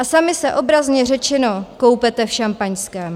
A sami se obrazně řečeno koupete v šampaňském.